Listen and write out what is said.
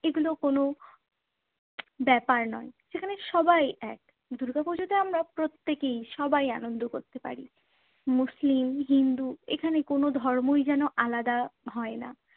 এগুলো কোনো ব্যাপার নয়, সেখানে সবাই এক। দুর্গাপুজোতে আমরা প্রত্যেককেই সবাই আনন্দ করতে পারি। মুসলিম, হিন্দু এখানে কোনো ধর্মই যেন আলাদা হয় না।